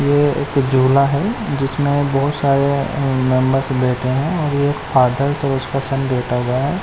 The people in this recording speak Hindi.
ये एक झूला है जिसमे बहोत सारे मेंबर्स बैठे हुए है जिसमे एक फादर एक सन बैठा हुआ है।